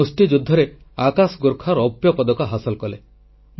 ମୁଷ୍ଟିଯୁଦ୍ଧରେ ଆକାଶ ଗୋର୍ଖା ରୌପ୍ୟପଦକ ହାସଲ କଲେ